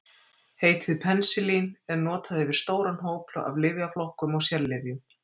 Heitið penisilín er notað yfir stóran hóp af lyfjaflokkum og sérlyfjum.